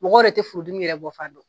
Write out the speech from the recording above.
Mɔgɔ yɛrɛ tɛ furudimi yɛrɛ bɔfan dɔn